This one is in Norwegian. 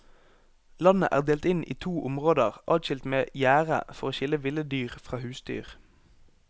Landet er delt inn i to områder adskilt med gjerde for å skille ville dyr fra husdyr.